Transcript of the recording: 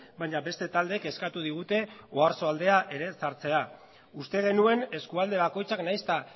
baina beste taldeek eskatu digute oarsoaldea ere sartzea uste genuen eskualde bakoitzak nahiz eta